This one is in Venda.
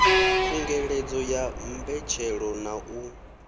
khungedzelo ya mbetshelo na u